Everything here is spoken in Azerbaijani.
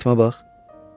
Bəs Fatimə bax.